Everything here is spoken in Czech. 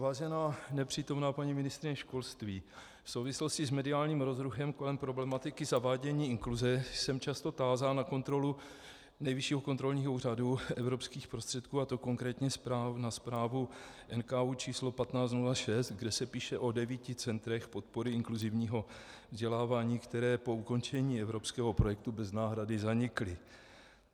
Vážená nepřítomná paní ministryně školství, v souvislosti s mediálním rozruchem kolem problematiky zavádění inkluze jsem často tázán na kontrolu Nejvyššího kontrolního úřadu evropských prostředků, a to konkrétně na zprávu NKÚ č. 1506, kde se píše o devíti centrech podpory inkluzivního vzdělávání, která po ukončení evropského projektu bez náhrady zanikla.